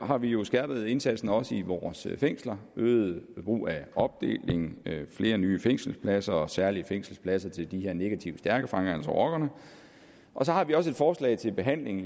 har vi jo skærpet indsatsen også i vores fængsler øget brug af opdeling flere nye fængselspladser og særlige fængselspladser til de her negativt stærke fanger altså rockerne så har vi også et forslag til behandling